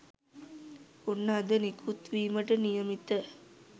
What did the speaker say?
ඔන්න අද නිකුත් විමට නියමිත